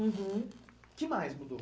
Uhum. O que mais mudou?